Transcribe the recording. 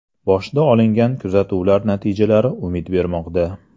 Boshda olingan kuzatuvlar natijalari umid bermoqda.